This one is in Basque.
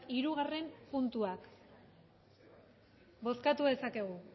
hirugarren puntuak bozkatu dezakegu